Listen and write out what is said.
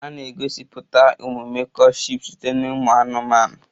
A na-egosipụtakwa omume courtship site na ụmụ anụmanụ